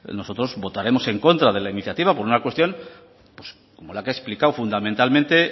nosotros votaremos en contra de la iniciativa por una cuestión como la que he explicado fundamentalmente